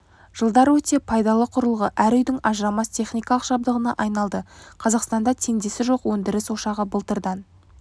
жылдар өте пайдалы құрылғы әр үйдің ажырамас техникалық жабдығына айналды қазақстанда теңдесі жоқ өндіріс ошағы былтырдан